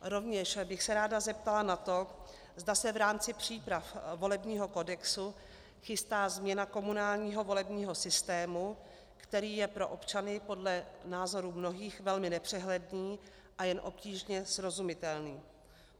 Rovněž bych se ráda zeptala na to, zda se v rámci příprav volebního kodexu chystá změna komunálního volebního systému, který je pro občany podle názoru mnohých velmi nepřehledný a jen obtížně srozumitelný.